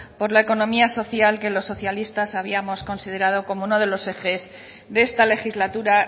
por la economía social que los socialistas habíamos considerado como uno de los ejes de esta legislatura